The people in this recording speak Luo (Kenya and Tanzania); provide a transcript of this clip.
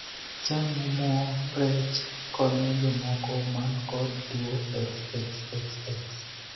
Chamo moo rech konyo jomoko man kod tuo xxxx.